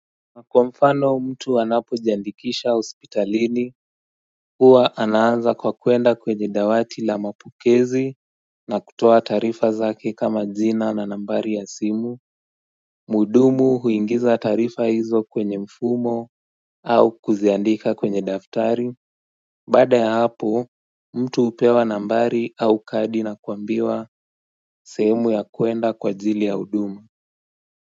Na kwa mfano mtu anapojiandikisha hospitalini huwa anaanza kwa kuenda kwenye dawati la mapokezi na kutoa taarifa zake kama jina na nambari ya simu Muhudumu huingiza taarifa hizo kwenye mfumo au kuziandika kwenye daftari Baada ya hapo mtu hupewa nambari au kadi na kuambiwa sehemu ya kuenda kwa ajili ya huduma.